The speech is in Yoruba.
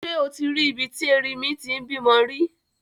Ṣé o ti rí ibi tí erinmi ti ń bímọ rí?